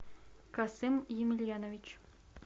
касым емельянович